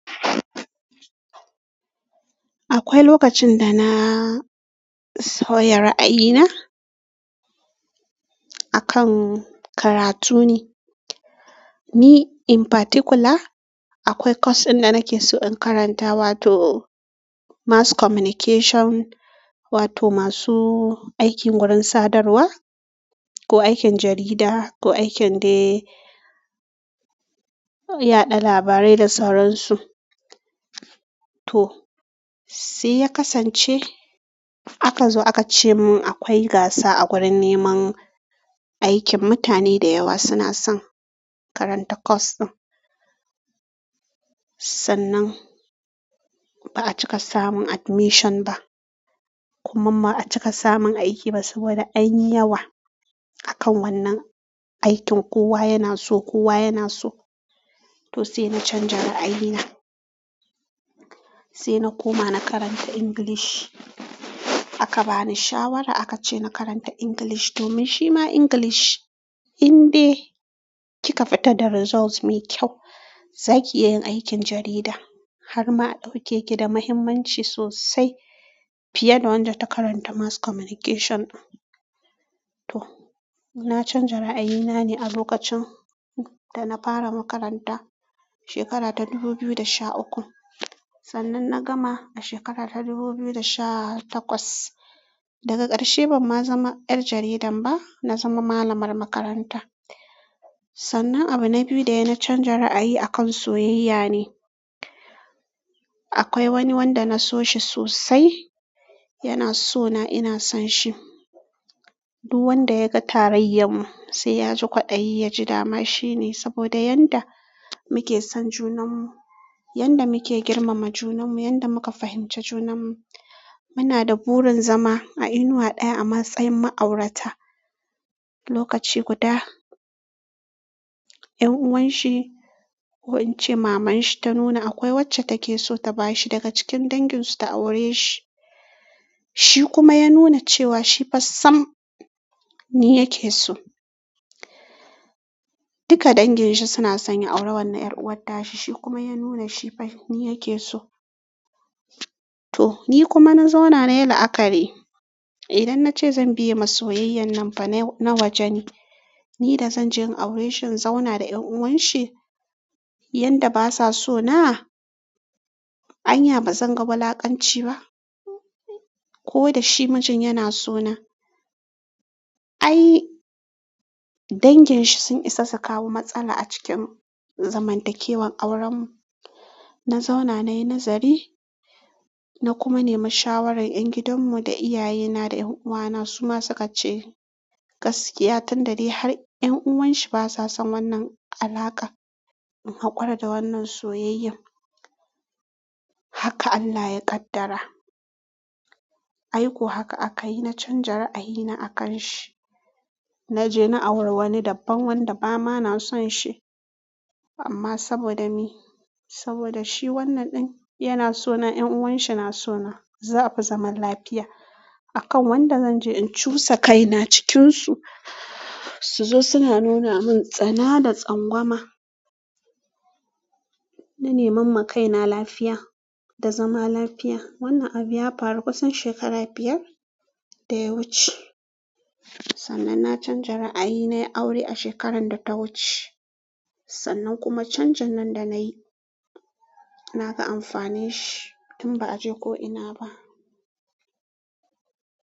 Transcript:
Akwai lokacin da na sauya ra'ayina akan karatu ne. Me in particular, akwai course ɗin da nake so in karanta wato mass communication wato masu aikin gurin sadarwa ko aikin jarida ko aikin dai yaɗa labarai da sauransu to, sai ya kasance aka zo aka ce mun akwai gaasa a gurin neman aikin, mutane da yawa suna son karanta course ɗin. Sannan ba a cika samun admission ba, kuma ba a cika samun aiki ba saboda anyi yawa akan wannan aikin. Kowa yana so, kowa yana so. To sai na canja ra'ayi na. Sai na koma na karanta English. Aka bani shawara aka ce na karanta English domin shima English in dai kika fita da result mai kyau, za ki iya yin aikin jarida har ma a ɗauke ki da muhimmanci sosai fiye da wadda ta karanta mass communication. To, na canja ra'ayi na ne a lokacin da na fara makaranta shekara ta dubu biyu da sha uku. Sannan na gama a shekara ta dubu biyu da sha takwas, daga ƙarshe ban ma zama yar jaridan ba, na zama malamar makaranta. Sannan abu na biyu da ya na canja ra'ayi akan soyayya ne. Akwai wani wanda na so shi sosai, yana so na, ina son shi. Duk wanda ya ga tarayyar mu sai ya ji kwaɗayi ya ji dama shine saboda yanda muke son junanmu, yanda muke girmama junanmu, yanda muka fahimci junanmu. Muna da burin zama a inuwa ɗaya a matsayin ma'aurata lokaci guda. Ƴan'uwan shi ko in ce maman shi ta nuna akwai wacce take so ta bashi daga cikin dangin su ta aure shi, shi kuma ya nuna cewa shi fa sam ni yake so. Duka dangin shi suna son ya aura wannan 'yar'uwarta shi kuma ya nuna shi ban ni yake so. To, ni kuma na zauna nayi la'akari. Idan na ce zan biye ma soyayyan nan fa na waje ne. Ni da zan je in aureshi in zauna da ƴan'uwan shi yanda basa so na? Anya bazan ga wulakanci ba ko da shi mijin yana so na? Ai dangin shi sun isa su kawo matsala a cikin zamantakewan auren mu. Na zauna nayi nazari na kuma nemi shawaran 'yan gidan mu da iyaye na da 'yan'uwa na. Su ma suka ce gaskiya tun da de har 'yan'uwan shi basa son wannan alakan in haƙura da wannan soyayyan. Haka Allah ya ƙaddara. Ai ko haka aka yi, na canja ra'ayi na akan shi. Na je na auri wani daban wanda ba ma na son shi amma saboda me? Saboda shi wannan ɗin yana so na 'yan'uwan shi na so na, za a fi zaman lafiya akan wanda zan je in cusa kaina cikin su su zo suna nuna mun tsana da tsangwama. Na neman makaina lafiya da zama lafiya. Wannan abu ya faru kusan shekara biyar da ya wuce. Sannan na canja ra'ayi na yi aure a shekaran da ta wuce. Sannan kuma canjin nan da na yi, na ga amfanin shi tun ba a je ko ina ba.